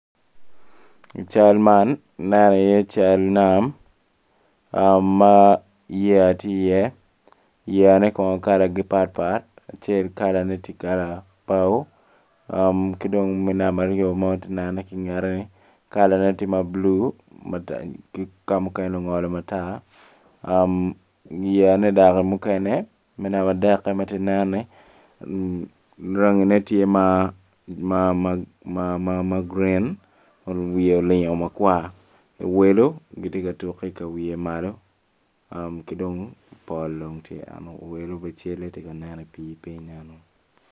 I cal man aneno iye cal nam ma yeya tye iye, yeya ne kono kalagi patpat acel kalane tye kala bao ki dong me namba aryo ma atye kanenone ki ngete kalane tye ma blu ki kamukene ongolo matar yeyane dok mukene me namba adek matye kanen-ni rangine tye ma gurin wiye olingo makwar owelo gitye katuk ki kawiye malo kidong pol dong tye enu owelo bene cal-le tye kanen i pii piny enu